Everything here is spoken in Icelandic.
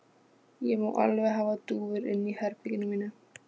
Ég má alveg hafa dúfur inni í herberginu mínu.